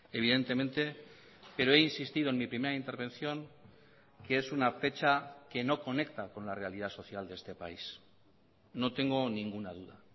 evidentemente pero he insistido en mi primera intervención que es una fecha que no conecta con la realidad social de este país no tengo ninguna duda